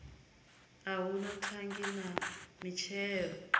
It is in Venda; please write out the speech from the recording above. hu na thangi na mitshila